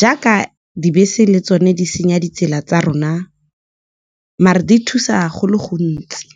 Jaaka dibese le tsone di senya ditsela tsa rona, mare di thusa go le gontsi.